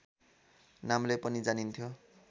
नामले पनि जानिन्थ्यो